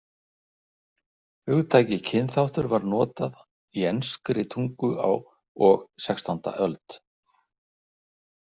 Hugtakið kynþáttur var notað í enskri tungu á og sextánda öld.